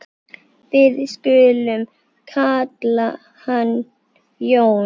Við skulum kalla hann Jón.